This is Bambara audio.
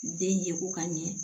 Den ye ko ka ɲɛ